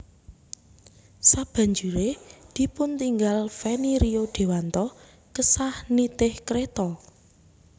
Sabanjure dipuntinggal Feni Rio Dewanto kesah nitih kreta